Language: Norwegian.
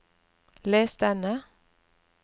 les denne